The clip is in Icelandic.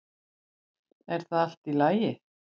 En það er allt í lagi.